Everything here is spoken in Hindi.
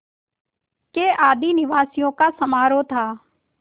के आदिनिवासियों का समारोह था